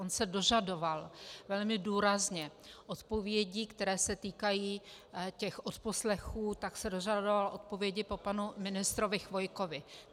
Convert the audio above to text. On se dožadoval velmi důrazně odpovědí, které se týkají těch odposlechů, tak se dožadoval odpovědí po panu ministrovi Chvojkovi.